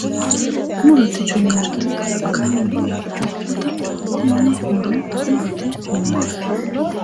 murote yineemmoti kalaqamunni afi'neemmota tenne muro murote yineemmo.